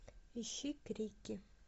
ищи крики